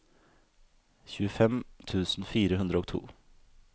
tjuefem tusen fire hundre og to